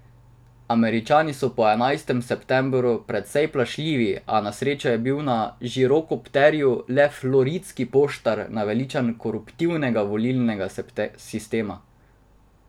Američani so po enajstem septembru precej plašljivi, a na srečo je bil na žirokopterju le floridski poštar, naveličan koruptivnega volilnega sistema.